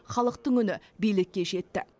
халықтың үні билікке жетті